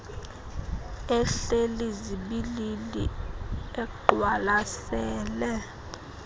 ehleli zibilili eqwalasele